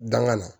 Danŋana